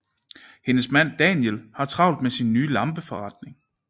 Hendes mand Daniel har travlt med sin nye lampeforretning